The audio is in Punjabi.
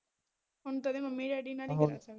ਹੁਣ ਕਦੇ ਮਮੀ ਡੈਡੀ ਕੋਲ ਨਹੀਂ ਜਾ ਸਕਦਾ